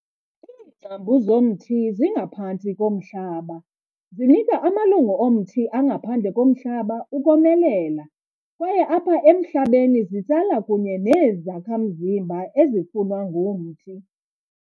Iingcambu zomthi zingaphantsi komhlaba, zinika amalungu omthi angaphandle komhlaba ukomelela, kwaye apha emhlabeni zitsala kunye neenezakha mzimba ezifunwa ngumthi.